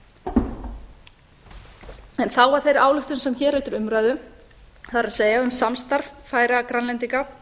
síðastliðnum en þá að þeirri ályktun sem hér er til umræðu það er um samstarf færeyja grænlendinga